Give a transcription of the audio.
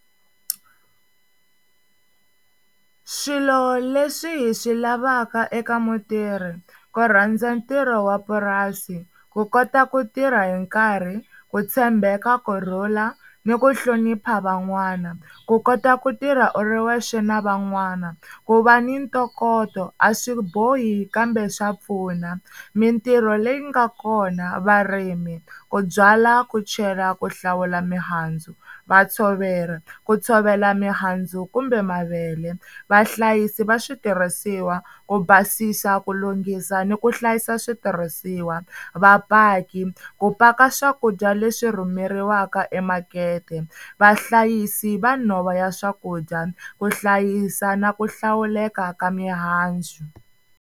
Swilo leswi hi swi lavaka eka mutirhi ku rhandza ntirho wa purasi, ku kota ku tirha hi nkarhi, ku tshembeka, kurhula ni ku hlonipha van'wana, ku kota ku tirha u ri wexe na van'wana, ku va ni ntokoto a swi bohi kambe swa pfuna, mintirho leyi nga kona, varimi, ku byala, ku chela, ku hlawula mihandzu, vatshoveri ku tshovela mihandzu kumbe mavele, vahlayisi va switirhisiwa ku basisa, ku lunghisa ni ku hlayisa switirhisiwa, vapaki ku paka swakudya leswi rhumeriwaka emakete, vahlayisi va nhova ya swakudya ku hlayisa na ku hlawuleka ka mihandzu.